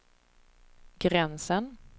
gränsen